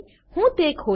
હું તે ખોલીશ